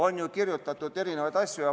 On ju kirjutatud erinevaid asju.